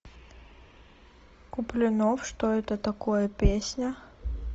куплинов что это такое песня